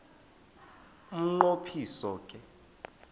umnqo phiso ke